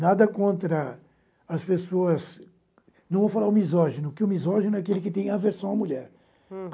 Nada contra as pessoas, não vou falar o misógino, que o misógino é aquele que tem aversão à mulher. hm